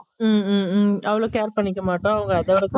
உம் உம் உம் அவளோ care பண்ணிக்க மாட்டோம் அவங்க அதோட